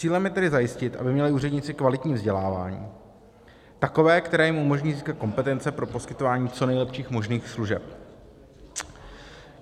Cílem je tedy zajistit, aby měli úředníci kvalitní vzdělávání, takové, které jim umožní získat kompetence pro poskytování co nejlepších možných služeb.